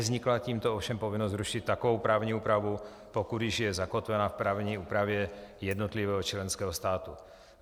Nevznikla tímto ovšem povinnost zrušit takovou právní úpravu, pokud již je zakotvena v právní úpravě jednotlivého členského státu.